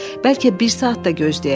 Bəlkə bir saat da gözləyək?